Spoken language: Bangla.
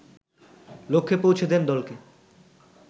লক্ষ্যে পৌঁছে দেন দলকে